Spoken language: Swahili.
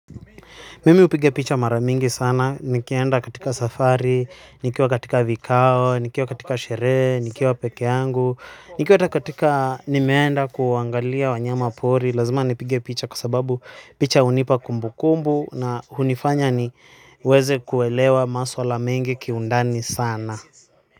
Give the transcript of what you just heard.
Mimi hupiga picha mara mingi sana, nikienda katika safari, nikiwa katika vikao, nikiwa katika sherehe, nikiwa peke yangu, nikiwa katika nimeenda kuangalia wanyama pori, lazima nipige picha kwa sababu picha hunipa kumbukumbu na hunifanya ni weze kuelewa maswala mengi kiundani sana.